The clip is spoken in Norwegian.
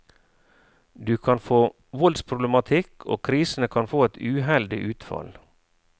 Du kan få voldsproblematikk, og krisene kan få et uheldig utfall.